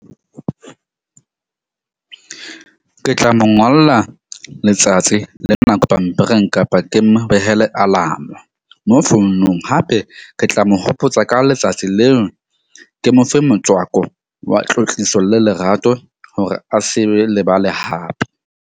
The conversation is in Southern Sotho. Ke tla mo ngolla letsatsi le nako pampiring kapa ke mo behele alarm-o mo founong hape ke tla mo hopotsa ka letsatsi leo. Ke mo fe motswako wa tlotliso le lerato hore a se be lebale hape.